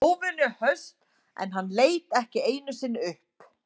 Hún var óvenju höst en hann leit ekki einu sinni upp.